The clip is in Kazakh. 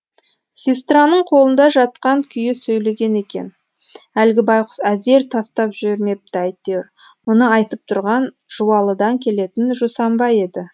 сестраның қолында жатқан күйі сөйлеген екен әлгі байқұс әзер тастап жібермепті әйтеуір мұны айтып тұрған жуалыдан келетін жусанбай еді